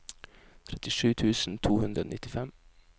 trettisju tusen to hundre og nittifem